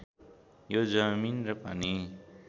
यो जमिन र पानी